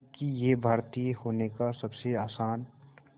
क्योंकि ये भारतीय होने का सबसे आसान